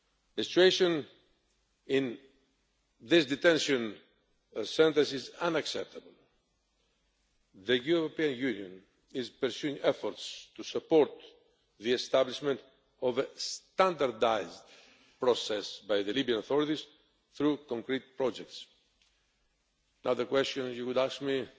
The situation in those detention centres is unacceptable. The European Union is pursuing efforts to support the establishment of a standardised process by the Libyan authorities through concrete projects. Another question you would ask